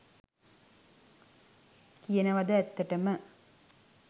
කියනවද ඇත්තටම